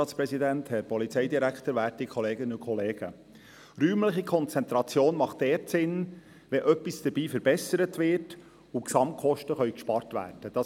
Räumliche Konzentration macht dort Sinn, wo etwas damit verbessert werden und Gesamtkosten eingespart werden können.